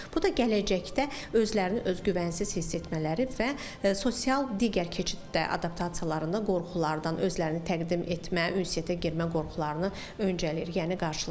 Bu da gələcəkdə özlərini özgüvənsiz hiss etmələri və sosial digər keçiddə adaptasiyalarında qorxulardan, özlərini təqdim etmə, ünsiyyətə girmə qorxularını öncələyir, yəni qarşılaşdırır.